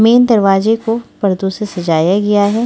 Main दरवाजे को पर्दों से सजाया गया है।